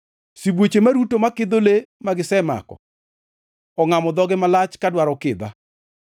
Sibuoche maruto makidho le ma gisemako ongʼamo dhogi malach ka dwaro kidha.